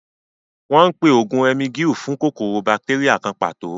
Wọ́n ń pe oògùn Emgyl fún kòkòrò bátéríà kan pàtó